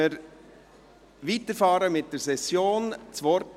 Damit fahren wir mit der Session fort.